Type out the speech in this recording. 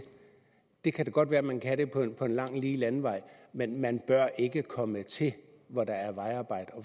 det kan godt være man kan det på en lang lige landevej men man bør ikke komme til hvor der er vejarbejde